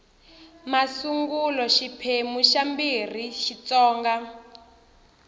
masungulo xiphemu xa ii xitsonga